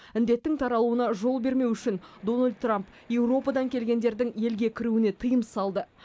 індеттің таралуына жол бермеу үшін дональд трамп еуропадан келгендердің елге кіруіне тыйым салды